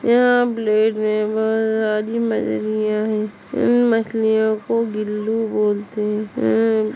यहाँ प्लेट में बहुत सारी मछलियाँ है इन मछलियों को बिल्लू बोलते हैं।